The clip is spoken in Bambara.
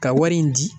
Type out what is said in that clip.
Ka wari in di